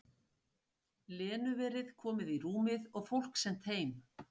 Lenu verið komið í rúmið og fólk sent heim.